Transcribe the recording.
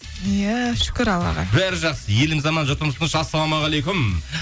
иә шүкір аллаға бәрі жақсы еліміз аман жұртымыз тыныш ассалаумағалейкум